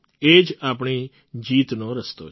એ જ આપણી જીતનો રસ્તો છે